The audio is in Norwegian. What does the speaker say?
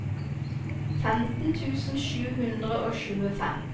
femten tusen sju hundre og tjuefem